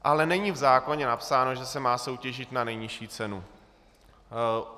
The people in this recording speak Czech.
Ale není v zákoně napsáno, že se má soutěžit na nejnižší cenu.